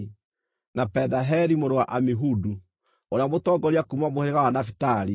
na Pedaheli mũrũ wa Amihudu, ũrĩa mũtongoria kuuma mũhĩrĩga wa Nafitali.”